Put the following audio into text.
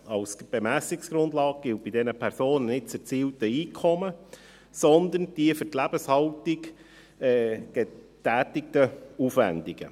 Als Bemessungsgrundlage gilt bei diesen Personen nicht das erzielte Einkommen, sondern die für die Lebenshaltung getätigten Aufwendungen.